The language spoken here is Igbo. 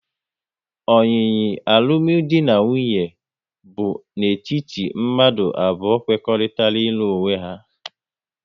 Oyiyi alụmdi na nwunye bụ n'etiti mmadụ abụọ kwekoritarago ilu onwe ha